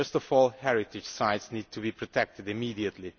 First of all, heritage sites need to be protected immediately.